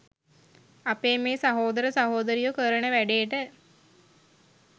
අපේ මේ සහෝදර සහෝදරියො කරන වැඩේට